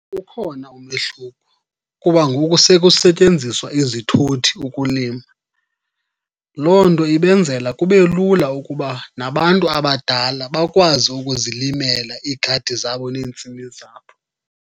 Ukhona umehluko kuba ngoku sekusetyenziwa izithuthi ukulima. Loo nto ibenzela kube lula ukuba nabantu abadala bakwazi ukuzilimela iigadi zabo neentsimi zabo.